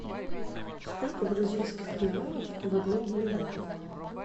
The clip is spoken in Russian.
сколько бразильских реалов в одном боливаре